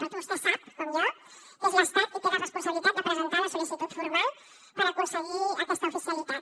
perquè vostè sap com jo que és l’estat qui té la responsabilitat de presentar la sol·licitud formal per aconseguir aquesta oficialitat